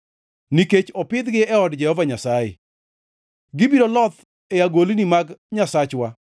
Nikech opidhgi e od Jehova Nyasaye, gibiro loth e agolni mag Nyasachwa.